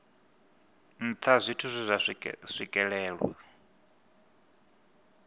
nṱha zwithu zwe zwa swikelelwa